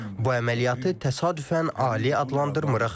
Bu əməliyyatı təsadüfən ali adlandırmırıq.